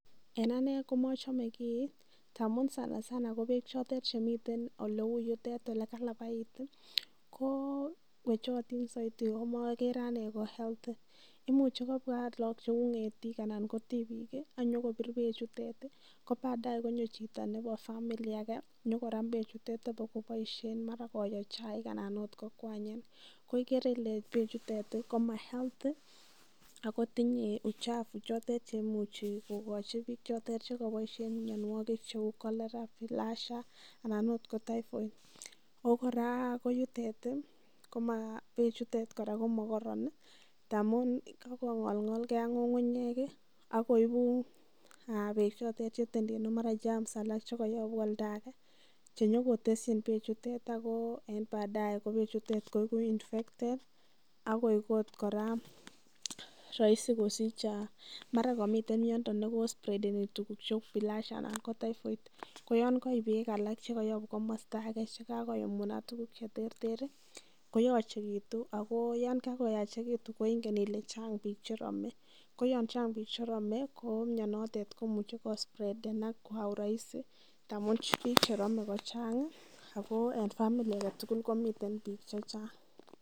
En ane ko machame kii ndamu sanasana ko peek chotet che miten ole yutet ole kalapait ko wechotin saidi komare ane ko health. Imuchu agot kopwa lagok, ng'etik anan ko tipik i, ak nyukopir pechutet ko padae konyo chito nepo family age nyu koram pechutet apakopoishen mara koyoe chaik anan kokwanye. Ko igere ile pechutet ko ma health ako tinye uchafu che imuchi kokachi piik chotet che kapaishen kianwogik cheun Cholera, Bilharzia ana akot ko Typhoid. Ako kora ko yutet, pechuton kora ko makararan tamun kakong'olng'olgei ak ng'ung'unyek i, ako ipu pechotet che itendendeni mara germs alal che kayaun olda agen che nyu koteschin pechutet si kor ko badae pechutet nyu ko iku infected ako eku kora raisi ko sich mara kamite miondo ne kospredeni tuguk cheu bilharzia anan ko Typhoid. Ko yan kaip peek alak che yapun komasta age che kakoumunat tuguk che terter ko yachekitu ako yan kakoyachekitu ingen ile chang' pik che rame. Ko yan chang' pik che rame ko mionetet ko imuchi kospredan kwa urahisi ngamun pik che ramen ko chang' ako en family age tugul ko miten pik che chang'.